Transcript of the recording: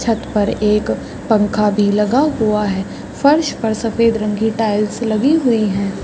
छत पर एक पंखा भी लगा हुआ है फर्श पर सफ़ेद रंग की टाइल्स लगी हुई है।